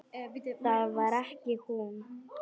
Það var ekki hún.